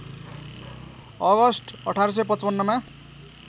August १८५५ मा